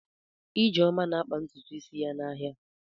Ijeoma na-akpa ntutu isi ya n'ahịa.